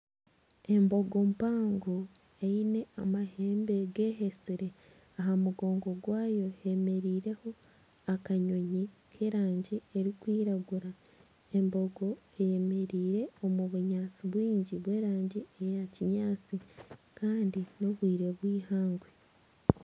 Emboga mpango eine amahembe gehetsire. Aha mugongo gwayo hemereireho akanyonyi k'erangi erikwiragura. Embogo eyemereire omu bunyaatsi bwingi bw'erangi eya kinyaatsi kandi n'obwire bw'eihangwe.